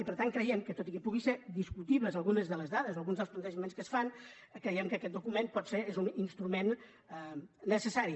i per tant creiem que tot i que puguin ser discutibles algunes de les dades o alguns dels plantejaments que es fan aquest document potser és un instrument necessari